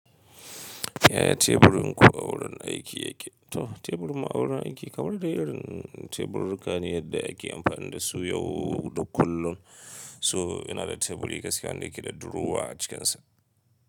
Yaya teburin ku a wurin aiki yake? To, teburin mu a wurin aiki kamar dai irin tebururruka ne da ake amfani da su yau da kullum. So yana da teburi gaskiya wanda ke da durowa a cikinsa.